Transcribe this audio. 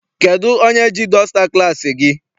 Kedụ onye ji dọsta klassi gị?